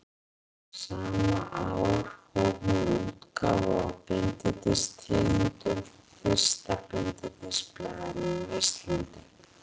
Sama ár hóf hún útgáfu á Bindindistíðindum, fyrsta bindindisblaðinu á Íslandi.